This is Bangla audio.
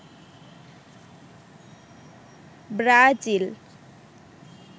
ব্রাজিল